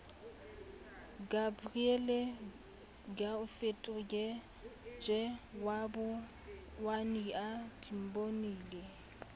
gabriel gaofetoge wa botswania timbonile